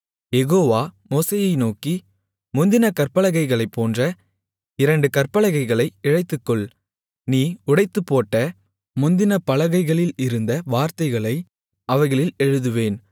யெகோவா மோசேயை நோக்கி முந்தினக் கற்பலகைகளை போன்ற இரண்டு கற்பலகைகளை இழைத்துக்கொள் நீ உடைத்துப்போட்ட முந்தின பலகைகளில் இருந்த வார்த்தைகளை அவைகளில் எழுதுவேன்